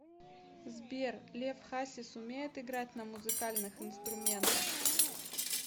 сбер лев хасис умеет играть на музыкальных инструментах